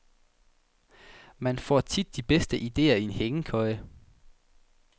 Man får tit de bedste ideer i en hængekøje.